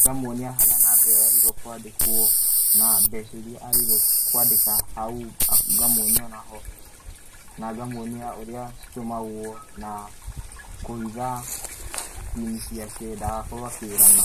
ngamuonia harĩa namba ĩyo yagĩrĩirũo nĩkũandĩkũo, na mbeca iria agĩrĩirũo kũandĩka, hau, nga, ngamuonia onaho, na ngamuonia ũrĩa citũmagũo naa, kũhitha pin ciake ndagakorũo akĩrana.